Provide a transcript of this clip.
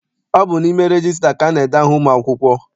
Ọ bụ n'ime regista ka ana-ede aha ụmụ akwụkwọ.